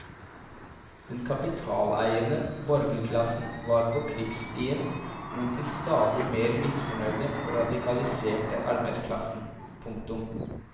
Den kapitaleiende borgerklassen var på krigsstien mot den stadig mer misfornøyde og radikaliserte arbeiderklassen. punktum